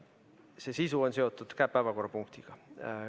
See sisu on seotud päevakorrapunktiga.